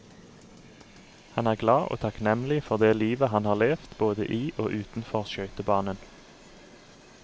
Han er glad og takknemlig for det livet han har levet både i og utenfor skøytebanen.